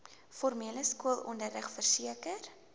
formele skoolonderrig verseker